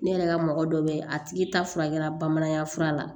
Ne yɛrɛ ka mɔgɔ dɔ bɛ a tigi ta furakɛla bamanankan fura la